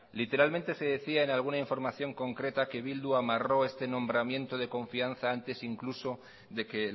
literalmente se decía en alguna información concreta que bildu amarró este nombramiento de confianza antes incluso de que